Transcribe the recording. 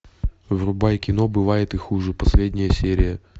врубай кино бывает и хуже последняя серия